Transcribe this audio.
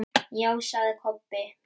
Já, sagði Kobbi.